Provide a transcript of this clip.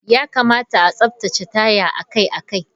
Ya kamata a tsaftace taya akai-akai.